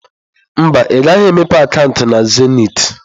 Mba, ị gaghị emepe akaụntụ na zenịtị.